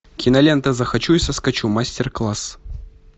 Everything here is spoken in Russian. кинолента захочу и соскочу мастер класс